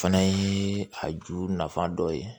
O fana ye a juru nafa dɔ ye